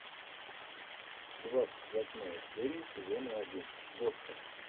двадцать восьмая серия сезона один босса